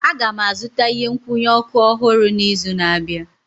Aga m azụta ihe nkwụnye ọkụ ọhụrụ n'izu na-abịa